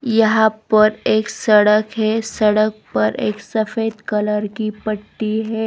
यहां पर एक सड़क है सड़क पर एक सफेद कलर की पट्टी है.